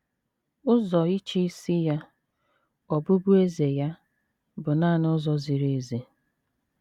Ụzọ ịchịisi ya, ọbụbụeze ya, bụ nanị ụzọ ziri ezi.